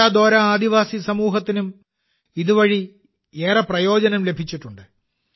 കൊണ്ട ദോര ആദിവാസി സമൂഹത്തിനും ഇതുവഴി ഏറെ പ്രയോജനം ലഭിച്ചിട്ടുണ്ട്